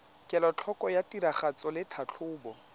kelotlhoko ya tiragatso le tlhatlhobo